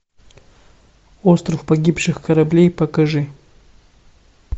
остров погибших кораблей покажи